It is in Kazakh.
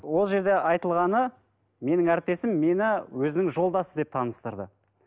ол жерде айтылғаны менің әріптесім мені өзінің жолдасы деп таныстырды